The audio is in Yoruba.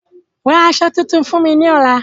Ra àsọ tutun fún mi lọ́la.